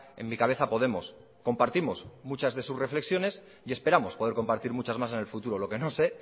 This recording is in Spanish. en mi cabeza a podemos compartimos muchas de sus reflexiones y esperamos poder compartir muchas más en el futuro lo que no sé